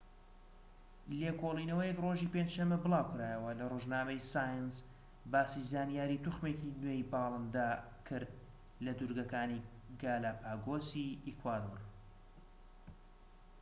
لێکۆڵینەوەیەک ڕۆژی پێنج شەمە بڵاوکرایەوە لە ڕۆژنامەی سایەنس باسی زانیاری توخمێکی نوێی باڵندە کرد لە دورگەکانی گالاپاگۆسی ئیکوادۆر